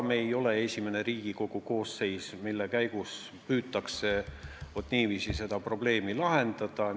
Me ei ole esimene Riigikogu koosseis, kus püütakse niiviisi seda probleemi lahendada.